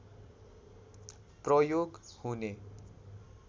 प्रयोग हुने